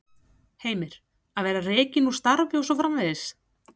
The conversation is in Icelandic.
Heimir: Að vera rekinn úr starfi og svo framvegis?